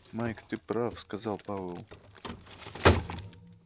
майк ты прав сказал пауэлл